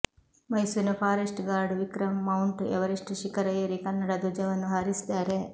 ಮೈಸೂರಿನ forest guard Vikram Mount Everest ಶಿಖರ ಏರಿ ಕನ್ನಡ ಧ್ವಜವನ್ನು ಹಾರಿಸಿದ್ದಾರೆ